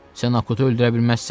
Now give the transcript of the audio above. Sən Akutu öldürə bilməzsən.